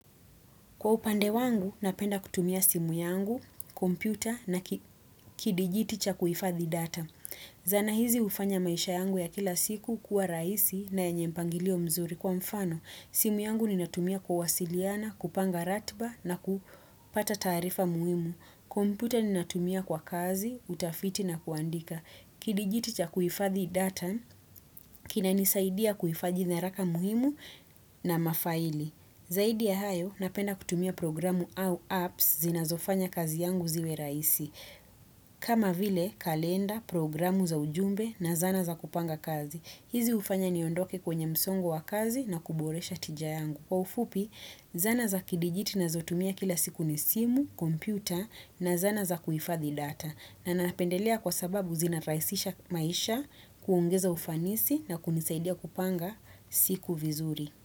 Kwa upande wangu, napenda kutumia simu yangu, kompyuta na kidijiti cha kuifadhi data. Zana hizi hufanya maisha yangu ya kila siku kuwa rahisi na yenye mpangilio mzuri kwa mfano. Simu yangu ninatumia kuwasiliana, kupanga ratiba na kupata taarifa muhimu. Kompyuta ninatumia kwa kazi, utafiti na kuandika. Kidijiti cha kuhifadhi data, kinanisaidia kuhifadhi nyaraka muhimu na mafaili. Zaidi ya hayo, napenda kutumia programu au apps zinazofanya kazi yangu ziwe rahisi. Kama vile, kalenda, programu za ujumbe na zana za kupanga kazi. Hizi hufanya niondoke kwenye msongo wa kazi na kuboresha tija yangu. Kwa ufupi, zana za kidijiti ninazotumia kila siku ni simu, kompyuta na zana za kuhifathi data. Na napendelea kwa sababu zinarahisisha maisha, kuongeza ufanisi na kunisaidia kupanga siku vizuri.